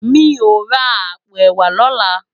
Mi ó rá àpó èwá lòlá